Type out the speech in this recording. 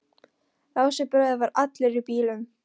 Lási bróðir var allur í bílum.